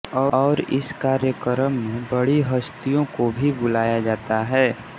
और इस कार्यक्रम में बड़ी हस्तियों को भी बुलाया जाता है